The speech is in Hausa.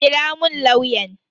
Kira mun lauyan.